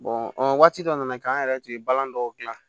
o waati dɔ nana kɛ an yɛrɛ tun ye balani dɔw dilan